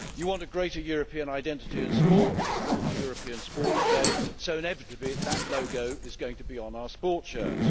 You want a greater European identity in sport and a call for a European Sports Day so inevitably that logo is going to be on our sports shirts.